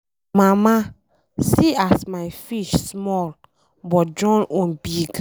Mama see as my fish small but John own big.